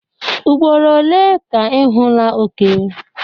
Ugboro ole ka ị hụla oke?